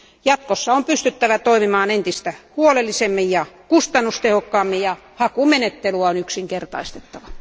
Jatkossa on pystyttävä toimimaan entistä huolellisemmin ja kustannustehokkaammin, ja hakumenettelyä on yksinkertaistettava.